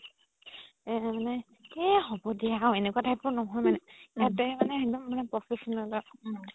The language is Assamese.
এহ মানে এহ হ'ব দিয়া এনেকুৱা type ৰ নহয় মানে সেহতে মানে একদম professional হয়